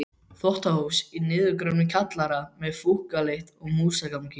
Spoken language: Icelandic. Þvottahús í niðurgröfnum kjallara með fúkkalykt og músagangi.